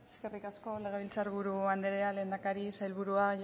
eskerrik asko legebiltzar buru andrea lehendakari sailburua